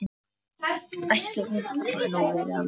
Ætli hún hafi nú verið alveg út í bláinn.